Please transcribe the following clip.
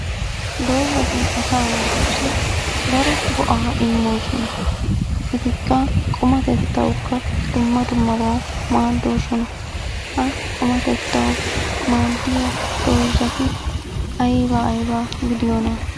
Doozatti asa naatussi daro go'aa immoosona ettikka qummattetawukka dumma dummabawu maadosona. Ha qummattetawu maadiyaa doozatti aybaa aybaa gidiyoona?